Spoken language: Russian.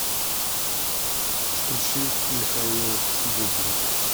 включи михаил бублик